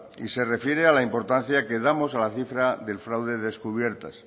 y se refiere a la importancia que damos a la cifra del fraude descubiertas